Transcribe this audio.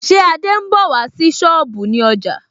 Ṣé Adé ń bọ̀ wá sí sọ́ọ̀bù ní ọjà